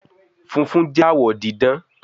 fúnfún jé awọ didán